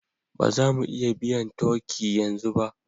Ba za mu iya biyan turkey yanzu ba